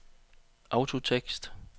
autotekst